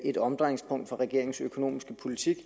et omdrejningspunkt for regeringens økonomiske politik